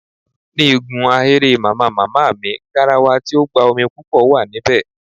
Ní igun ahéré Màmá màmá mi, garawa tí ó gba omi púpò wà níbè